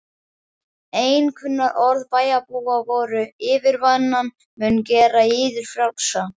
Einkunnarorð bæjarbúa voru: yfirvinnan mun gera yður frjálsa.